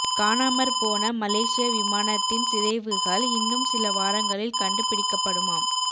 காணமற் போன மலேசிய விமானத்தின் சிதைவுகள் இன்னும் சில வாரங்களில் கண்டு பிடிக்கப்படுமாம்